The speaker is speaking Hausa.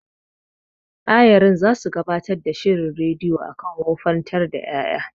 Ayarin zasu gabatar da shirin rediyo akan wofantar da ƴaƴa.